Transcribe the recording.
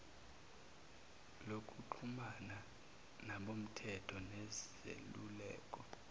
lokuxhumana nabomthetho nezeluleko